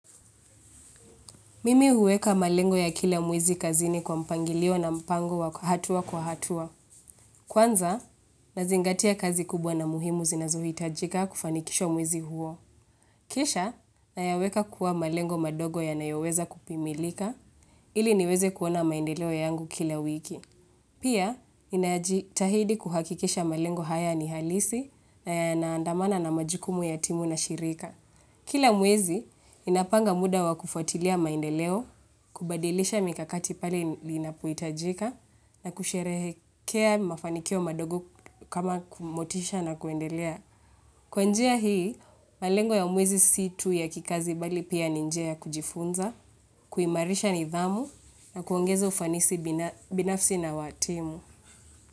Mimi uweka malengo ya kila mwezi kazini kwa mpangilio na mpango wa hatua kwa hatua. Kwanza, nazingatia kazi kubwa na muhimu zinazuhi itajika kufanikisho mwizi huo. Kisha, nayaweka kuwa malengo madogo ya nayoweza kupimilika, ili niweze kuona maindeleo ya yangu kila wiki. Pia, inajitahidi kuhakikisha malengo haya ni halisi na ya naandamana na majikumu ya timu na shirika. Kila mwezi, inapanga muda wa kufuatilia maendeleo, kubadilisha mikakati pale linapuitajika, na kusherehekea mafanikio madogo kama kumotisha na kuendelea. Kwanjia hii, malengo ya mwezi si tu ya kikazi bali pia ninjea kujifunza, kuimarisha nidhamu, na kuongeza ufanisi binafsi na watimu.